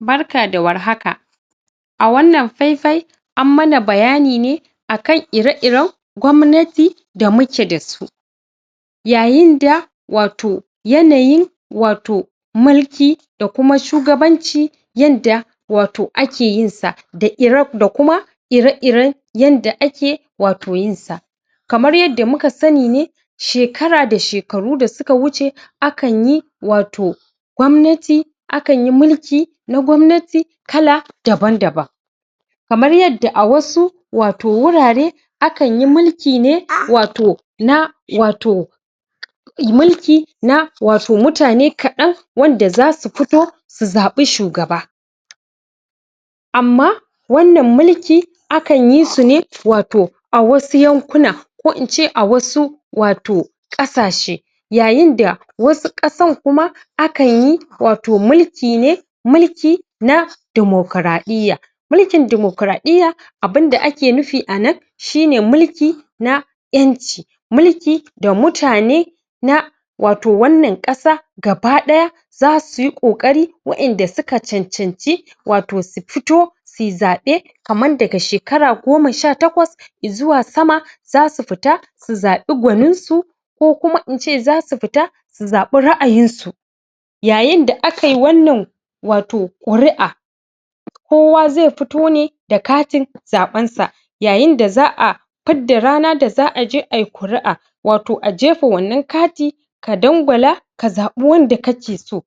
barka da warhaka a wannan faifai an mana bayani ne akan ire-iren gwamnati da muke dasu yayinda wato yanayi wato mulki da kuma shugabanci yanda wato ake yinsa, da ire, da kuma ire-iren yanda ake wato yinsa kamar yadda muka sani ne shekara da shekaru da suka wuce akanyi wato gwamnati akanyi mulki na gwamnati kala daban-daban kamar yadda a wasu wato wurare akan yi mulki ne wato na wato i mulki na watomutane kaɗan wanda zasu fito su zabi shugaba amma wannan mulki akan yi su ne wato a wasu yankunan ko ince a wasu wato ƙasashe yayinda wasu ƙasan kuma akan yi wato mulki ne muli na dimokraɗɗiyya mulkin dimokraɗɗiyya abinda ake nufi a nan shine mulki na ƴanci mulki da mutane na wato wannan asa gaba ɗaya zasu yi ƙoƙari waƴanda suka cancanci wato su fito suyi zaɓe kaman daga shekara goma sha takwas i zuwa sama zasu fita su zaɓi gwaninsu ko kuma ince zasu fita su zaɓi ra'ayinsu yayinda akai wannan wato ƙuri'a kowa zai fito ne da katin zaɓensa yayinda za'a fidda rana aje ai kuri'a wato a jefa wannan kati ka dangwala ka zaɓi wanda kake so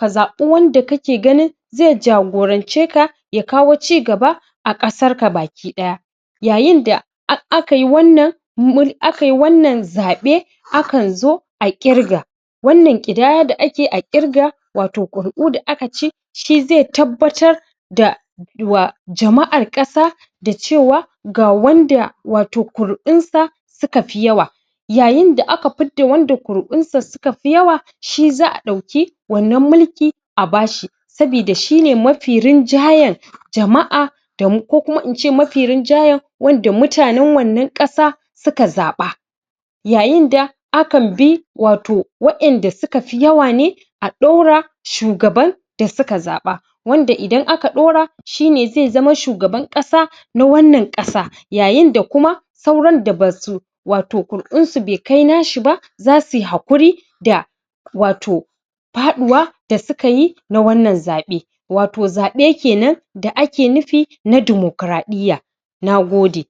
ka zaɓi wanda kake gani zai jagoranceka ya kawo ci gaba a ƙasarka baki ɗaya yayinda akai wannan akai wannan zaɓe akan zo a ƙirga wannan ƙidaya da ake a ƙirga wato ƙuri'u da aka shi zai tabbatar da wa jama'ar ƙasa da cewa ga wanda wato ƙuri'unsa suka fi yawa sukafi yawa yayinda aka fidda wanda kuru'unsa sukafi yawa shi za'a ɗaukii wannan mulki a bashi sabida shine mafi rinjayen jama'a damu ko kuma ince shine mafi rinjayen wanda mutanen wannan ƙasa suka zaɓa yayinda akanbi wato waƴanda sukafi yawa ne a ɗora shugaban da suka zaɓa wanda idan aka ɗora shine zai zama shugaban ƙasa na wannan ƙasa yayinda kuma sauran da basu wato kuru'unsu baikai nasu ba zasuy haƙuri da wato faɗuwa da suka yi na wannan zaɓe wato zaɓe kenan da ake nufi na dimokraɗɗiyya nagode